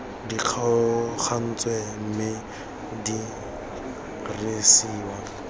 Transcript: di kgaogantsweng mme di dirisiwa